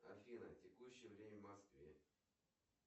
афина текущее время в москве